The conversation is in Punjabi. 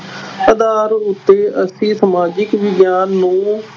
ਆਧਾਰ ਉੱਤੇ ਅਸੀਂ ਸਮਾਜਿਕ ਵਿਗਿਆਨ ਨੂੰ